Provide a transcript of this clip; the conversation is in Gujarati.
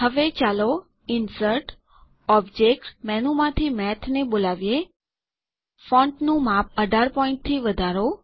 હવે ચાલો ઇન્સર્ટ ઓબ્જેક્ટ મેનુમાંથી મેથને બોલાવીએ ફોન્ટનું માપ ૧૮ પોઈન્ટ થી વધારો